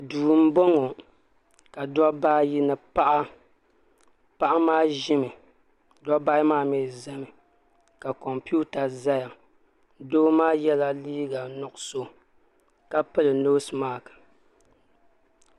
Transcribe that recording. duu m-bɔŋɔ ka dobba ayi ni paɣa paɣa. maa ʒimi dobba ayi maa mi zami ka kompiuta zaya doo maa yela liiga nuɣisɔ ka pili noosi mask.